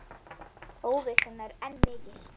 Óvissan er enn mikil.